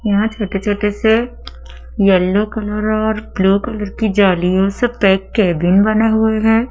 यहाँ छोटे-छोटे से येलो कलर और ब्लू कलर की जालियों से पैक केबिन बने हुए हैं।